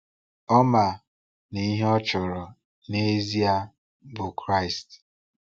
Ọ ma na ihe ọ chọrọ n’ezie bụ Kraịst.